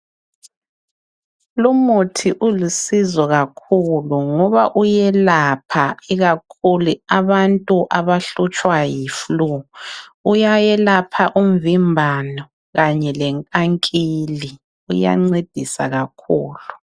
Lumuthi ulusizo kakhulu ngoba uyelapha ikakhulu abantu abahlutshwa yiflue. Uyalapha umvimbano kanye lenkankili uyancedisa kakhulu.